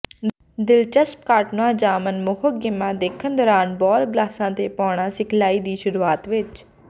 ਦਿਲਚਸਪ ਕਾਰਟੂਨਾਂ ਜਾਂ ਮਨਮੋਹਕ ਗੇਮਾਂ ਦੇਖਣ ਦੌਰਾਨ ਬਾਲ ਗਲਾਸਾਂ ਤੇ ਪਾਉਣਾ ਸਿਖਲਾਈ ਦੀ ਸ਼ੁਰੂਆਤ ਵਿੱਚ